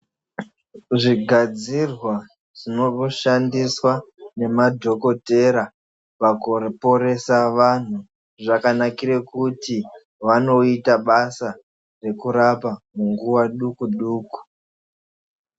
Zvigadzirwa zvinoshandiswe ngemadhokodheya pakuporese vantu zvakanakire pakuti vanoite basa rekurapa nguwa duku duku.